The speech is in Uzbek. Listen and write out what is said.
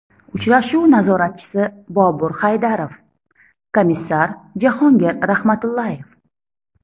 Uchrashuv nazoratchisi Bobur Haydarov, komissar Jahongir Rahmatullayev.